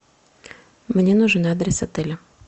мне нужен адрес отеля